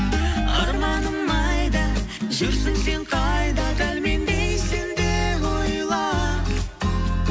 арманым айда жүрсің сен қайда дәл мендей сен де ойла